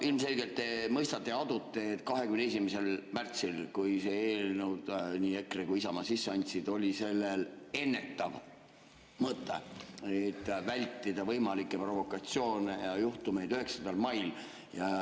Ilmselgelt te mõistate ja adute, et 21. märtsil, kui selle eelnõu nii EKRE kui ka Isamaa sisse andsid, oli sellel ennetav mõte, et vältida võimalikke provokatsioone ja juhtumeid 9. mail.